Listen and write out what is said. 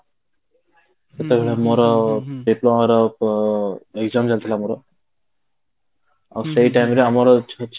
ସେତେ ବେଳେ ଆମର diplomaର exam ଚାଲିଥିଲା ଆମର ଆଉ ସେଇ time ରେ ଆମର